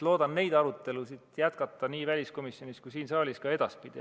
Loodan neid arutelusid jätkata väliskomisjonis ja siin saalis ka edaspidi.